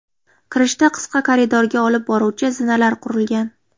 Kirishda qisqa koridorga olib boruvchi zinalar qurilgan.